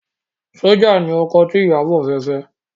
Sójà ni ọkọ tí Ìyábọ̀ fẹ́ fẹ́